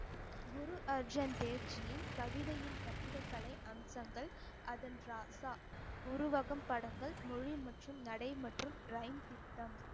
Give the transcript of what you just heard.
குரு அர்ஜன் தேர்ஜியின் கவிதையின் கட்டிடக்கலை அம்சங்கள் அதன் ராசா உருவாக்கம் படங்கள் மொழி மற்றும் நடை மற்றும் திட்டம்